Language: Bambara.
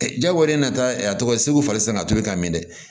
jagoya de nana a tɔgɔ segu fali san ka tobi ka mɛn dɛ